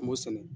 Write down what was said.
An b'o sɛnɛ